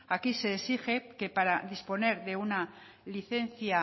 aquí se exige que pare disponer de una licencia